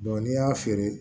n'i y'a feere